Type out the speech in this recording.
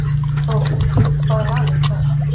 Þórhildur: Hvaða lag er það?